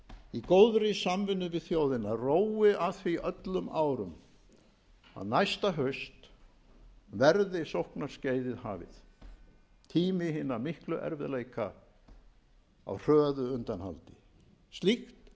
í góðri samvinnu við þjóðina rói að því öllum árum að næsta haust verði sóknarskeiðið hafið tími hinna miklu erfiðleika á hröðu undanhaldi